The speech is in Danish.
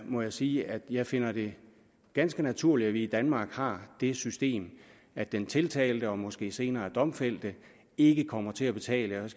må jeg sige at jeg finder det ganske naturligt at vi i danmark har det system at den tiltalte og måske senere domfældte ikke kommer til at betale